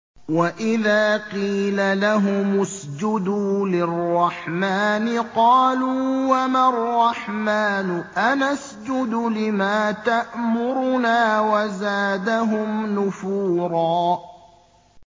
وَإِذَا قِيلَ لَهُمُ اسْجُدُوا لِلرَّحْمَٰنِ قَالُوا وَمَا الرَّحْمَٰنُ أَنَسْجُدُ لِمَا تَأْمُرُنَا وَزَادَهُمْ نُفُورًا ۩